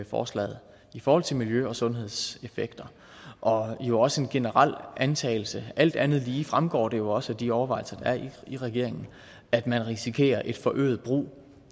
forslaget i forhold til miljø og sundhedseffekter og jo også en generel antagelse alt andet lige fremgår det jo også af de overvejelser der er i regeringen at man risikerer en forøget brug